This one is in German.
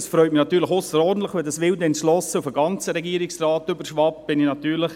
Es freut mich natürlich ausserordentlich, wenn diese wilde Entschlossenheit auf den gesamten Regierungsrat überschwappt, dann bin ich natürlich